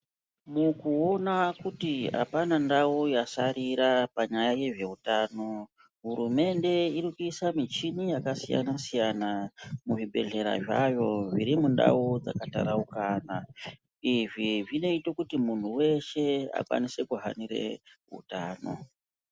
Mukuona kuti apana ndau yasarira panyaya yezveutano , hurumende irikuisa michini yakasiyana siyana muzvibhedhlera zvayo zviri mundau dzakataraukana .Izvi zvinoita kuti muntu weshe akwanise kuhanire utano.